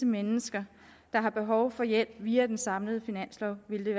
mennesker der har behov for hjælp via den samlede finanslov ville det